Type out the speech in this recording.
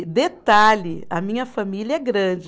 E detalhe, a minha família é grande.